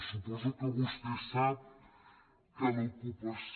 suposo que vostè sap que l’ocupació